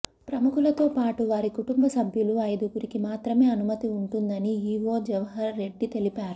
ప్రముఖులతో పాటు వారి కుటుంబసభ్యులు ఐదుగురికి మాత్రమే అనుమతి ఉంటుందని ఈవో జవహర్ రెడ్డి తెలిపారు